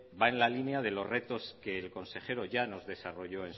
va en la línea de los retos que el consejero ya nos desarrolló